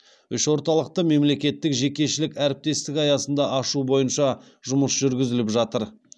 үш орталықты мемлекеттік жекешелік әріптестік аясында ашу бойынша жұмыс жүргізіліп жатыр